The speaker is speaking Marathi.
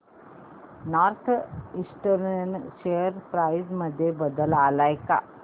नॉर्थ ईस्टर्न शेअर प्राइस मध्ये बदल आलाय का